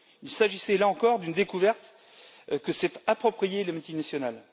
Il s'agissait, là encore, d'une découverte que s'est appropriée la multinationale.